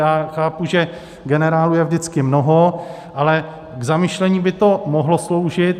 Já chápu, že generálů je vždycky mnoho, ale k zamyšlení by to mohlo sloužit.